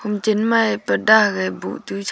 chem mae purda ha gai boh tu sha--